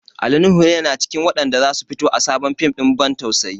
Ali Nuhu na cikin waɗanda za su fito a sabon fim ɗin ban tausayi.